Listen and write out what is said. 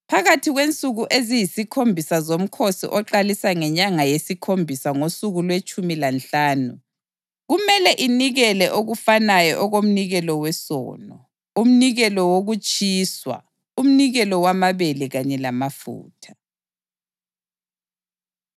Phakathi kwensuku eziyisikhombisa zomkhosi oqalisa ngenyanga yesikhombisa ngosuku lwetshumi lanhlanu, kumele inikele okufanayo okomnikelo wesono, umnikelo wokutshiswa, umnikelo wamabele kanye lamafutha.’ ”